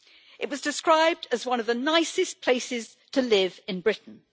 It was described as one of the nicest places to live in Britain.